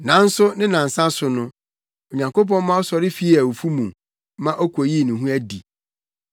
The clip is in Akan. Nanso ne nnansa so no, Onyankopɔn ma ɔsɔre fii awufo mu ma okoyii ne ho adi.